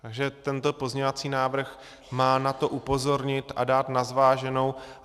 Takže tento pozměňovací návrh má na to upozornit a dát na zváženou.